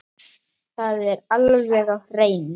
Það var alveg á hreinu!